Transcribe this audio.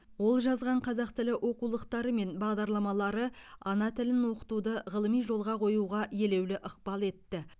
ол жазған қазақ тілі оқулықтары мен бағдарламалары ана тілін оқытуды ғылыми жолға қоюға елеулі ықпал етті